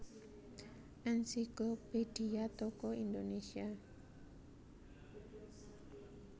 Ensiklophedia Tokoh Indonésia